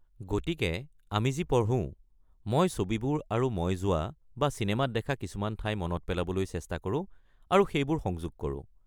গতিকে আমি যি পঢ়ো, মই ছবিবোৰ আৰু মই যোৱা বা চিনেমাত দেখা কিছুমান ঠাই মনত পেলাবলৈ চেষ্টা কৰোঁ আৰু সেইবোৰ সংযোগ কৰোঁ।